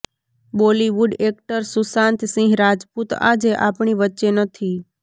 Bollywood actor Sushant Singh Rajput આજે આપણી વચ્ચે નથી